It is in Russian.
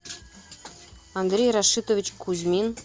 андрей рашитович кузьмин